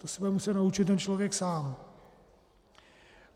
To se bude muset naučit ten člověk sám.